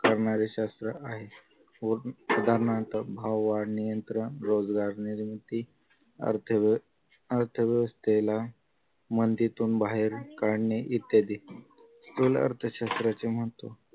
करणारे शास्त्र आहे व उदाहरणार्थ भाव वाढणे नियंत्र रोजगार निर्मिती अर्थव्य अर्थव्यवस्थेला मंदीतून बाहेर काढणे इत्यादी स्थूल अर्थशास्त्राचे महत्व